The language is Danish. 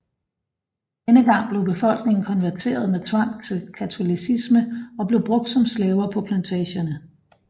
Denne gang blev befolkningen konverteret med tvang til katolicismen og blev brugt som slaver på plantagerne